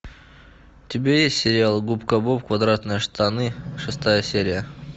у тебя есть сериал губка боб квадратные штаны шестая серия